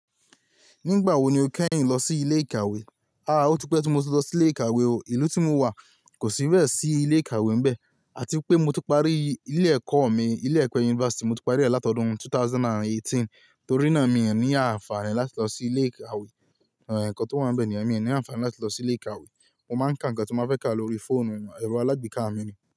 Nígbà wo ni o kẹ́yìn lọ sí ilé ìkàwé? Ó tipẹ̀ tí mo ti lọ sí ilé ìkàwé o. Ìlú tí mo wà kò sí bẹ̀ sí ilé ìkàwé mbẹ̀. Àti pé mo ti parí ilé ẹ̀kọ́ mi. Ilé ẹ̀kọ́ university mo ti parí rẹ̀ látodún 2018, torí náà mi ò ní àǹfààní láti lọ sí ilé ìkàwé. Ẹ̀kọ́ tó wà níbẹ̀ ni, èmi ò ní àǹfààní láti lọ sí ilé ìkàwé. Mo máa ń ka ǹkan tí mo fẹ́ ká lórí fóònù, ẹ̀rọ alágbèéká mi ni.